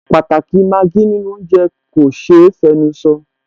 Pàtàkì i Maggi nínú oúnjẹ kò ṣe é fẹnusọ